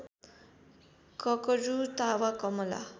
ककरु तावा कमला